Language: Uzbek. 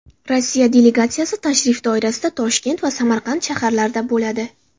Rossiya delegatsiyasi tashrif doirasida Toshkent va Samarqand shaharlarida bo‘ladi.